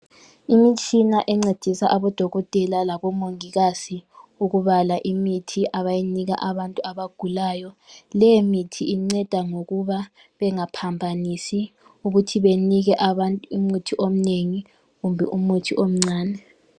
Imitshina encedisa abodokotela labomongikazi ukubala imithi abayinika abantu abagulayo. Lemithi inceda ngokuba bengaphambanisi ukuthi benike abantu umuthi omnengi kumbe umuthi omncani.